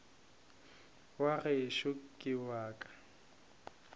wa gešo ke wa ka